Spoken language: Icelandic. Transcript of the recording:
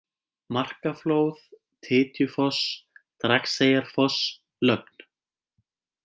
Markaflóð, Titjufoss, Dragseyjarfoss, Lögn